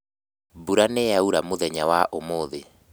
Mbura nĩyaura mũthenya wa ũmũthĩ